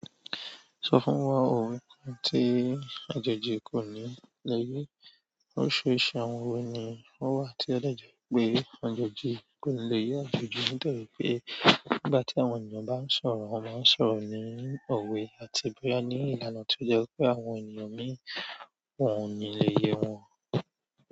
Sọ fún wa òwe tí àjèjì kò ní lẹ́yìi. Oríṣiríṣi àwọn òwe ni ó wà tí ó dàjẹ́ pé àjèjì kò ní lèyẹ̀. Àjèjì ń tẹ́lẹ̀ pé nígbà tí àwọn ènìyàn bá ń sọ̀rọ̀, wọ́n máa ń sọ̀rọ̀ ní òwe àti bóyá ní ìlànà tí ó jẹ́ pé àwọn ènìyàn mi wọ́n ò ní lè yé wọn.